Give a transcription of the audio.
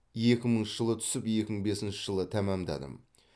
екі мыңыншы жылы түсіп екі мың бесінші жылы тәмамдадым